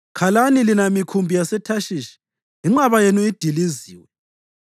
Khalani lina mikhumbi yaseThashishi, inqaba yenu idiliziwe!